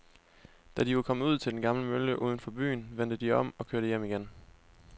Da de var kommet ud til den gamle mølle uden for byen, vendte de om og kørte hjem igen.